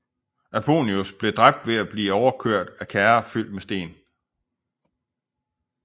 Aponius blev dræbt ved at blive overkørt af kærrer fyldt med sten